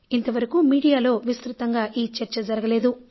ఇంతవరకూ మీడియాలో విస్తృతంగా ఈ చర్చ జరగలేదు